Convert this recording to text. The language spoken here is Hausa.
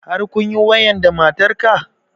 Har kunyi wayan da matar ka?